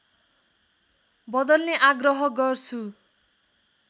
बदल्ने आग्रह गर्छु